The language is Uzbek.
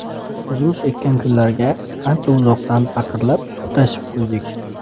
O‘zimiz ekkan gullarga, ancha uzoqdan paqirlab suv tashib quydik.